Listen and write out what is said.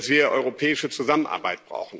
wir europäische Zusammenarbeit.